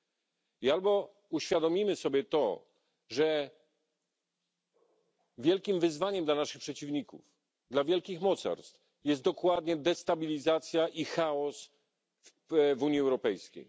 Powinniśmy uświadomić sobie to, że wielkim wyzwaniem dla naszych przeciwników, dla wielkich mocarstw jest dokładnie destabilizacja i chaos w Unii Europejskiej.